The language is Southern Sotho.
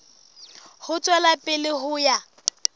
ho tswela pele ho ya